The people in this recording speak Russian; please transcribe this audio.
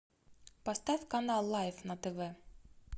поставь канал лайф на тв